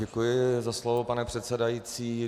Děkuji za slovo, pane předsedající.